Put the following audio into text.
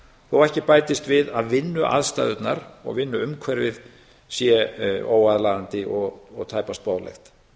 og ekki bætist við að vinnuaðstæðurnar og vinnuumhverfið sé óaðlaðandi og tæpast boðlegt